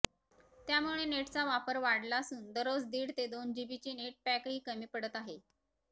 त्यामुळे नेटचा वापर वाढला असून दररोज दीड ते दोन जीबीचे नेट पॅकही कमी पडत आहे